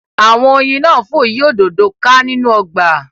Awọn oyin náà fò yí òdodo ká nínú ọgba